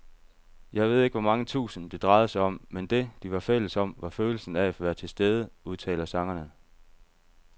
Jeg ved ikke hvor mange tusind, det drejede sig om, men det, de var fælles om, var følelsen af at være tilstede, udtaler sangeren.